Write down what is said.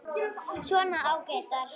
Svona ágætar.